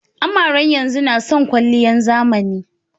Amaren yanzun nason kwaliyan zamani.